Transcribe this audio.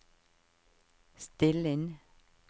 still inn